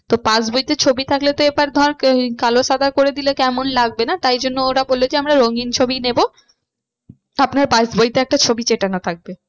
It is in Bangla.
তো pass বইতে ছবি থাকলে তো এবার ধর কালো সাদা করে দিলে কেমন লাগবে না তাই জন্য ওরা বললো যে আমরা রঙিন ছবিই নেবো আপনার pass বইটায় একটা ছবি থাকবে